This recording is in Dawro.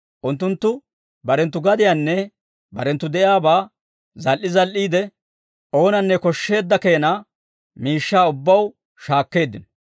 Unttunttu barenttu gadiyaanne barenttoo de'iyaabaa zal"i zal"iide, oonanne koshsheedda keena miishshaa ubbaw shaakkeeddino.